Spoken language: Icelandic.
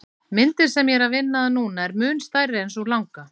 Myndin sem ég er að vinna að núna er mun stærri en sú langa.